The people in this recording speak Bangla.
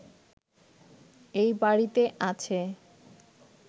এই বাড়িতে আছে